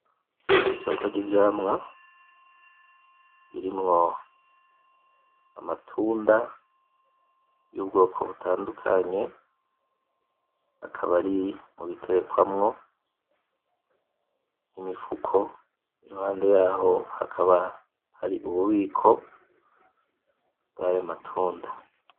Isoko ry,ivyamwa birimwo amatunda yubwoko butandukanye akaba ari mubiterekwamwo , imifuko iruhande yaho hakaba hari ububiko bwayo matunda .